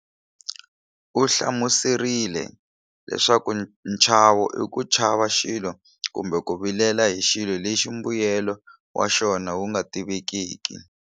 U hlamuserile leswaku nchavo i ku chava xilo kumbe ku vilela hi xilo lexi mbuyelo wa xona wu nga tivekiki.